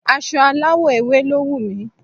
Aso aláwọ̀ ewe lo wu mi